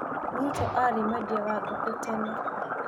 Ruto aarĩ mwendia wa ngũkũ tene.